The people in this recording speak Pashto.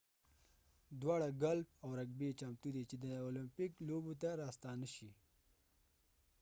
دواړه ګالف او رګبي چمتو دي چې د المپیک لوبو ته راستانه شي